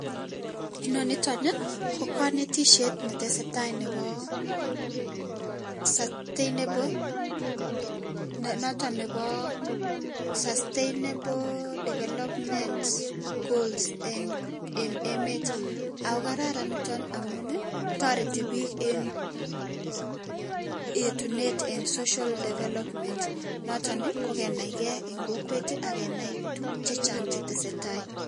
Inoniton Ii ko kanetisiet netesetai nebo sustainable noton nebo sustainable developments goals enn enn emet, ako kararan niton amun ii toreti bik enn yetunet enn social development noton ii kokenaike enn kokwet ak kenai tuguk chechang chetesetai.